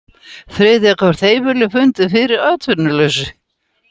Þriðja hvert heimili fundið fyrir atvinnuleysi